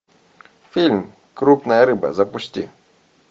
фильм крупная рыба запусти